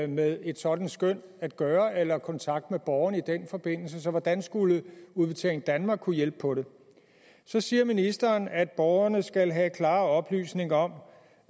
med et sådant skøn at gøre eller kontakt med borgerne i den forbindelse så hvordan skulle udbetaling danmark kunne hjælpe på det så siger ministeren at borgerne skal have klare oplysninger om